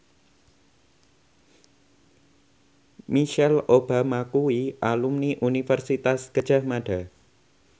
Michelle Obama kuwi alumni Universitas Gadjah Mada